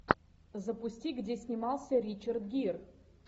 запусти где снимался ричард гир